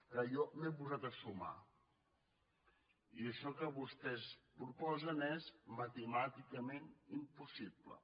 clar jo m’he posat a sumar i això que vostès proposen és matemàticament impossible